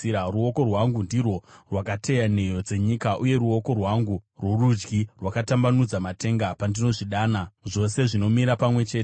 Ruoko rwangu ndirwo rwakateya nheyo dzenyika, uye ruoko rwangu rworudyi rwakatambanudza matenga; pandinozvidana, zvose zvinomira pamwe chete.